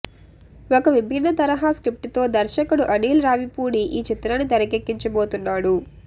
ఒక విభిన్న తరహా స్క్రిప్ట్తో దర్శకుడు అనీల్ రావిపూడి ఈ చిత్రాన్ని తెరకెక్కించబోతున్నాడు